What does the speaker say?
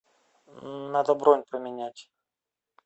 надо бронь поменять